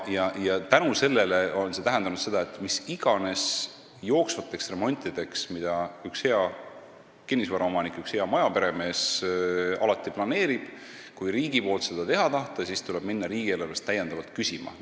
See on tähendanud, et kui riik tahab teha mis iganes jooksvat remonti, mida üks hea kinnisvaraomanik, üks hea majaperemees alati peab planeerima, siis tuleb minna riigieelarvest täiendavalt raha küsima.